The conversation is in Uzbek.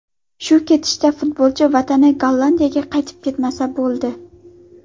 Shu ketishda futbolchi vatani Gollandiyaga qaytib ketmasa bo‘ldi.